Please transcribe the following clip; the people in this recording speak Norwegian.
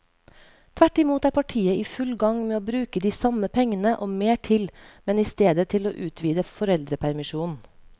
Tvert imot er partiet i full gang med å bruke de samme pengene og mer til, men i stedet til å utvide foreldrepermisjonen.